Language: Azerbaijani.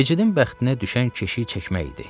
Becidin bəxtinə düşən keşiyi çəkmək idi.